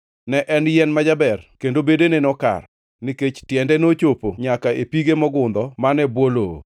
Ne en yien ma jaber, kendo bedene nokar, nikech tiende nochopo nyaka e pige mogundho man e bwo lowo.